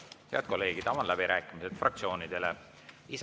Head kolleegid, avan fraktsioonide läbirääkimised.